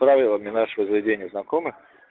правилами нашего заведения знакомы